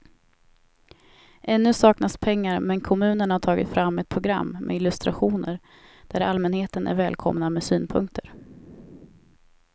Ännu saknas pengar men kommunen har tagit fram ett program med illustrationer där allmänheten är välkomna med synpunkter.